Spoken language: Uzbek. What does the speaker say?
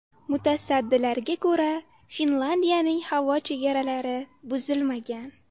Mutasaddilarga ko‘ra, Finlyandiyaning havo chegaralari buzilmagan.